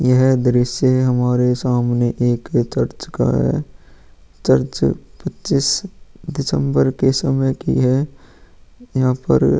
यह दृश्य हमारे सामने एक चर्च का है चर्च पच्चीस दिसंबर के समय की है यहाँ पर --